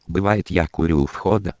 бывает я курю